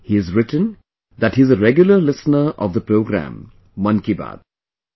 He has written that he is a regular listener of the program "Mann Ki Baat"